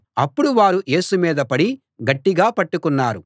అప్పుడు వారు యేసు మీద పడి గట్టిగా పట్టుకున్నారు